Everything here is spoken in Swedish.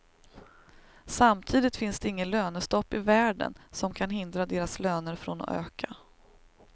Samtidigt finns det inget lönestopp i världen som kan hindra deras löner från att öka.